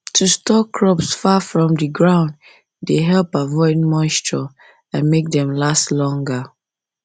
to store crops far from the ground dey help avoid moisture and make dem last longer